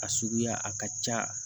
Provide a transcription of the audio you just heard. A suguya a ka ca